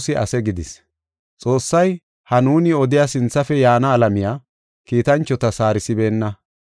Xoossay ha nuuni odiya sinthafe yaana alamiya, kiitanchotas haarisibeenna.